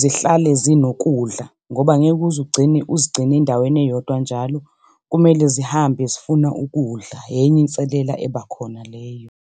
zihlale zinokudla ngoba angeke uze ugcine uzigcine endaweni eyodwa njalo kumele zihambe zifuna ukudla, enye inselela eba khona leyo.